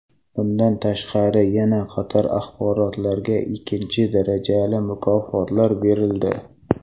Bundan tashqari, yana qator arboblarga ikkinchi darajali mukofotlar berildi.